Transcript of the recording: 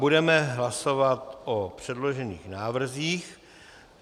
Budeme hlasovat o předložených návrzích.